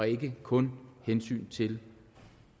ikke kun af hensyn til